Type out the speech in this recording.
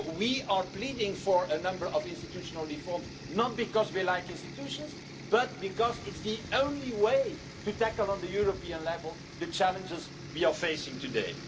level. So we are pleading for a number of institutional reforms, not because we like institutions, but because this is the only way to tackle at a European level the challenges we are facing